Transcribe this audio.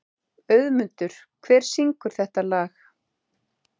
Auðmundur, hver syngur þetta lag?